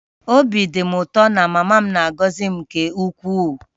Obi dị m ụtọ na mama m na-agọzi m nke ukwuu